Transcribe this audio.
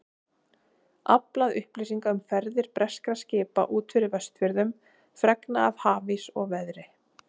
Aflað upplýsinga um ferðir breskra skipa út fyrir Vestfjörðum, fregna af hafís og veðri.